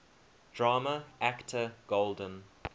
drama actor golden